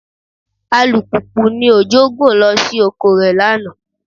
Alùpùpù ni Òjó gùn lọ sí oko rẹ̀ lánàá